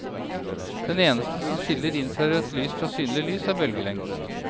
Det eneste som skiller infrarødt lys fra synlig lys er bølgelengden.